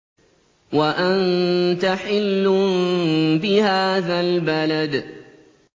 وَأَنتَ حِلٌّ بِهَٰذَا الْبَلَدِ